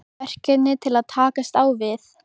Verkefni til að takast á við?